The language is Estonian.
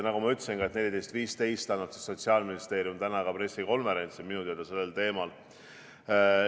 Nagu ma ütlesin, täna kell 14.15 annab Sotsiaalministeerium ka pressikonverentsi minu teada sellel teemal.